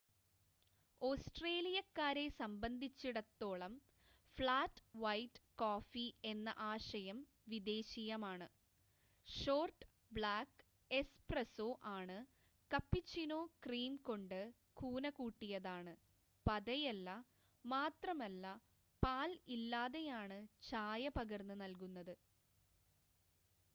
ഓസ്‌ട്രേലിയക്കാരെ സംബന്ധിച്ചിടത്തോളം 'flat white' coffee എന്ന ആശയം വിദേശീയമാണ്. ഷോർട്ട് ബ്ലാക്ക് 'എസ്പ്രസ്സോ' ആണ് കപ്പുച്ചിനോ ക്രീം കൊണ്ട് കൂന കൂട്ടിയതാണ് പതയല്ല മാത്രമല്ല പാൽ ഇല്ലാതെയാണ് ചായ പകർന്ന് നൽകുന്നത്